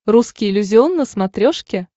русский иллюзион на смотрешке